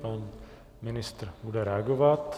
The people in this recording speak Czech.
Pan ministr bude reagovat.